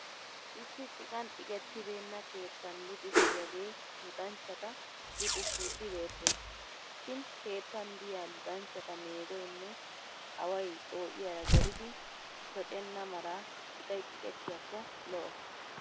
Issi ciqan ciqettineenna keettan luxissiyaagee luxanchchata luxissiiddi beettes. Shin keettan diya luxanchchata meegoynne away xoo'iyaara gelidi shocenna mala ciqay ciqettiyaakko lo'o.